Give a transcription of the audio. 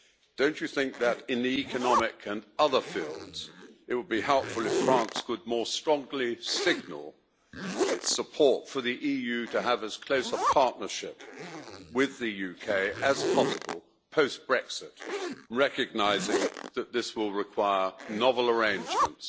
Do you not think that in the economic and other fields it would be helpful if France could more strongly signal its support for the EU to have as close a partnership with the UK as possible post Brexit, recognising that this will require novel arrangements?